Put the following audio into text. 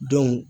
Don